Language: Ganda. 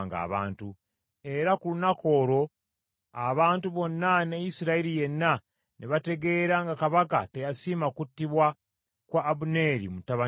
Era ku lunaku olwo abantu bonna ne Isirayiri yenna ne bategeera nga kabaka teyasiima kuttibwa kwa Abuneeri mutabani wa Neeri.